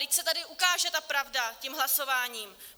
Vždyť se tady ukáže ta pravda tím hlasováním.